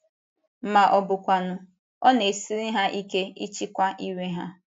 Ma ọ bụkwanụ, ọ na-esiri ha ike ịchịkwa iwe ha.